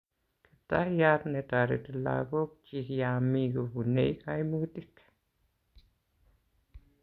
kiptayat ne tareti lagok chik ya mi kopune kaimutik